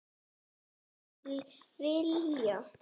Ýmsir vilja gefa ímyndunaraflinu lausan tauminn í umfjöllun um málið.